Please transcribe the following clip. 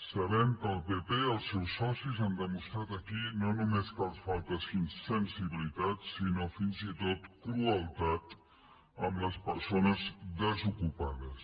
sabem que el pp els seus socis han demostrat aquí no només que els falta sensibilitat sinó fins i tot crueltat amb les persones desocupades